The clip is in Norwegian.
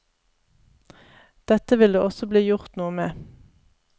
Dette vil det også bli gjort noe med.